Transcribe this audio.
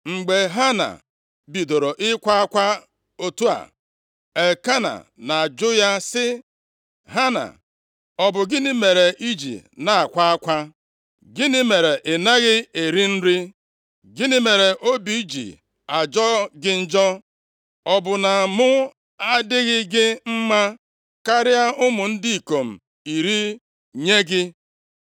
Mgbe Hana bidoro ịkwa akwa otu a, Elkena na-ajụ ya sị, “Hana, ọ bụ gịnị mere i ji na-akwa akwa? Gịnị mere ị naghị eri nri? Gịnị mere obi ji ajọ gị njọ? Ọ bụ na mụ adịghị gị mma karịa ụmụ ndị ikom iri nye gị?”